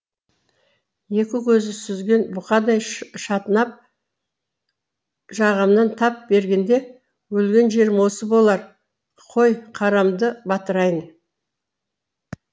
екі көзі сүзеген бұқадай шатынап жағамнан тап бергенде өлген жерім осы болар қой қарамды батырайын